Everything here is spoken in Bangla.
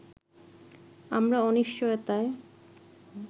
“আমরা অনিশ্চয়তায়